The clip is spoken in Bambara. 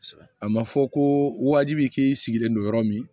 A ma fɔ ko waajibi k'i sigilen don yɔrɔ min